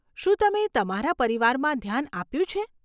શું તમે તમારા પરિવારમાં ધ્યાન આપ્યું છે?